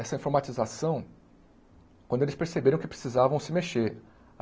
essa informatização, quando eles perceberam que precisavam se mexer.